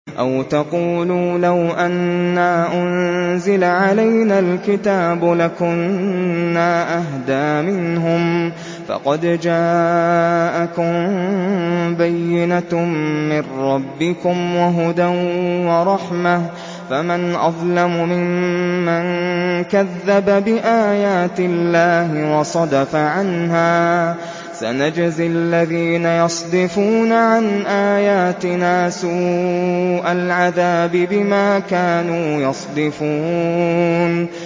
أَوْ تَقُولُوا لَوْ أَنَّا أُنزِلَ عَلَيْنَا الْكِتَابُ لَكُنَّا أَهْدَىٰ مِنْهُمْ ۚ فَقَدْ جَاءَكُم بَيِّنَةٌ مِّن رَّبِّكُمْ وَهُدًى وَرَحْمَةٌ ۚ فَمَنْ أَظْلَمُ مِمَّن كَذَّبَ بِآيَاتِ اللَّهِ وَصَدَفَ عَنْهَا ۗ سَنَجْزِي الَّذِينَ يَصْدِفُونَ عَنْ آيَاتِنَا سُوءَ الْعَذَابِ بِمَا كَانُوا يَصْدِفُونَ